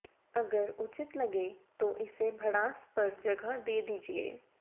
अगर उचित लगे तो इसे भड़ास पर जगह दे दीजिए